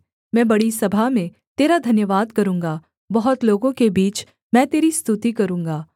मैं बड़ी सभा में तेरा धन्यवाद करूँगा बहुत लोगों के बीच मैं तेरी स्तुति करूँगा